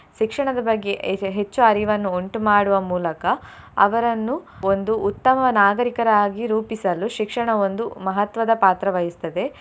ಶಿಕ್ಷಣದ ಬಗ್ಗೆ ಹೆಚ್ಚು ಅರಿವನ್ನು ಉಂಟುಮಾಡುವ ಮೂಲಕ ಅವರನ್ನು ಒಂದು ಉತ್ತಮ ನಾಗರಿಕರಾಗಿ ರೂಪಿಸಲು ಶಿಕ್ಷಣ ಒಂದು ಮಹತ್ವದ ಪಾತ್ರ ವಹಿಸ್ತದೆ.